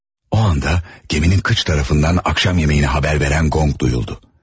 O anda gəminin kıç tərəfindən akşam yeməyini xəbər verən qonq duyuldu.